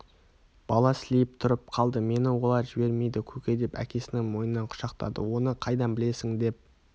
бала сілейіп тұрып қалды мені олар жібермейді көке деп әкесінің мойнын құшақтады оны қайдан білесің деп